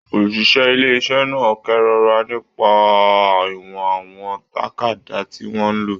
Oṣiṣẹ ilé iṣẹ náà kerora nípa ìwọ̀n àwọn tàkádá tí wọn lò.